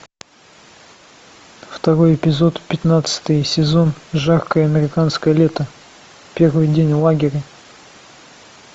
второй эпизод пятнадцатый сезон жаркое американское лето первый день лагеря